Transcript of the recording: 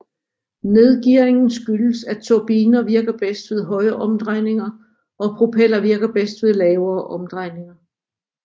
Nedgearingen skyldes at turbiner virker bedst ved høje omdrejninger og propeller virker bedst ved lavere omdrejninger